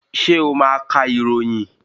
Ṣé ó máa ka ìròyìn?